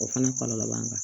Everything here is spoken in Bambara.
O fana kɔlɔlɔ b'an kan